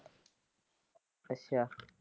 ਅੱਛਾ।